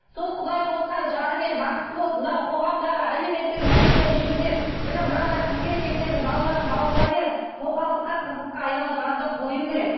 сол құдай қосқан жарымен бақытты болып мынау қоғамдағы әлеуметтік мәселені жөндеп міне мынадай қыз келіншектердің балаларын бауырына беріп тоқалдыққа қызыққа айналдырғанды қою керек